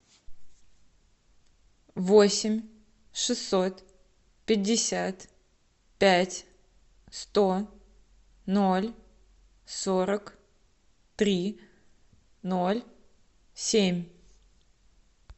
восемь шестьсот пятьдесят пять сто ноль сорок три ноль семь